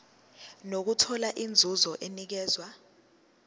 nokuthola inzuzo enikezwa